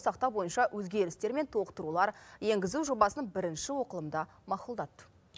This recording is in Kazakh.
сақтау бойынша өзгерістер мен толықтырулар енгізу жобасын бірінші оқылымда мақұлдады